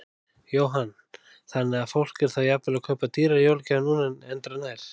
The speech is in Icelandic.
Jóhann: Þannig að fólk er þá jafnvel að kaupa dýrari jólagjafir núna en endranær?